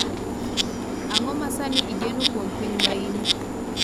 ang'o ma sani igeno kuom piny maine